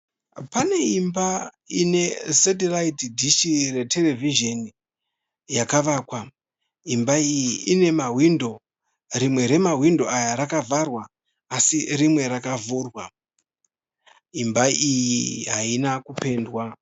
Pane imba ine setiraiti dishi reterevhizheni yakavakwa. Imba iyi ine mawindo. Rimwe remawindo aya rakavharwa asi rimwe rakavhurwa. Imba iyi haina kupendwa.